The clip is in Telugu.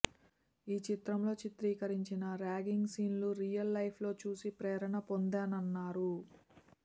ఈ చిత్రంలో చిత్రీకరించిన ర్యాగింగ్ సీన్లు రియల్ లైఫ్లో చూసి ప్రేరణ పొందానన్నారు